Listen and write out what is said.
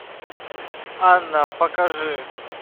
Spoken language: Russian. анна покажи